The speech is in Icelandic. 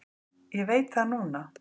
Ég veit það núna.